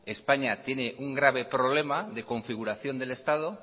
españa tiene un grave problema de configuración del estado